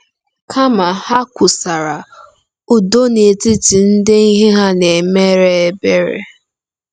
Kama, ha kwusara “udo n’etiti ndị ihe ha na-emere ebere.”